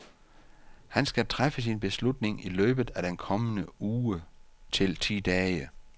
Han skal træffe sin beslutning i løbet af den kommende uge til ti dage.